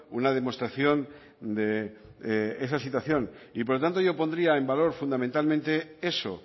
una demostración de esa situación por lo tanto yo pondría en valor fundamentalmente eso